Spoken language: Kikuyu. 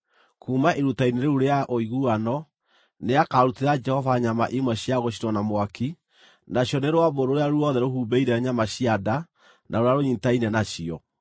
Kuuma iruta-inĩ rĩu rĩa ũiguano, nĩakarutĩra Jehova nyama imwe cia gũcinwo na mwaki: nacio nĩ rũambũ rũrĩa ruothe rũhumbĩire nyama cia nda na rũrĩa rũnyiitaine nacio,